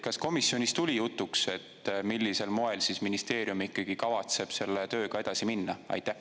Kas komisjonis tuli jutuks, et millisel moel siis ministeerium ikkagi kavatseb selle tööga edasi minna?